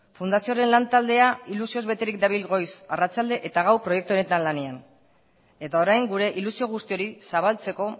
fundazioaren lantaldea ilusioz beterik dabil goiz arratsalde eta gau proiektu honetan lanean eta orain gure ilusio guzti hori zabaltzeko